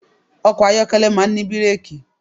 Ọkọ̀ ayọ́kẹ́lẹ̀ máà ń ní bírẹ́kì.